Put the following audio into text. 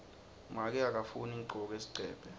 make akafuni ngigcoke sigcebhe